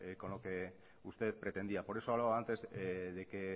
con lo que usted pretendía por eso hablaba antes de que